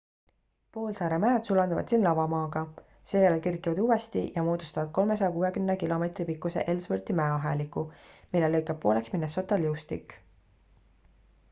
poolsaare mäed sulanduvad siin lavamaaga seejärel kerkivad uuesti ja moodustavad 360 km pikkuse ellsworthi mäeaheliku mille lõikab pooleks minnesota liustik